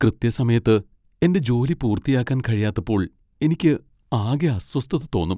കൃത്യസമയത്ത് എന്റെ ജോലി പൂർത്തിയാക്കാൻ കഴിയാത്തപ്പോൾ എനിക്ക് ആകെ അസ്വസ്ഥത തോന്നും.